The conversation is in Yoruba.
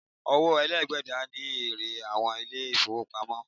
Owó èlé gbígbà ní èrè àwọn ilé ìfọwọ́pamo.